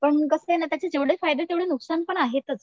पण कसं आहे ना त्याचे जेवढे फायदे तेवढे नुकसान पण आहेतच.